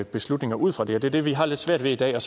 beslutninger ud fra det det er det vi har lidt svært ved i dag og